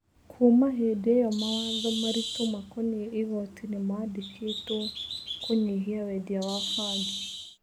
Kuuma hĩndĩ ĩo mawatho maritũmakoniĩ igooti nĩ mandĩkĩtwo kũnyihia wendia wa bangi.